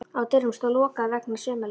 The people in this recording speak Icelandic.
Á dyrunum stóð: LOKAÐ VEGNA SUMARLEYFA.